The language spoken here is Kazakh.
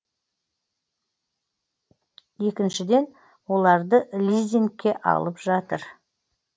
екіншіден оларды лизингке алып жатыр